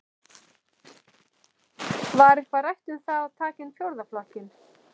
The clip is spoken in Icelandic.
Var eitthvað rætt um það að taka inn fjórða flokkinn?